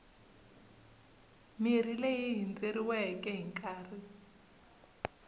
mirhi leyi hindzeriweke hi nkarhi